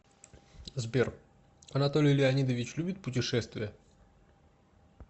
сбер анатолий леонидович любит путешествия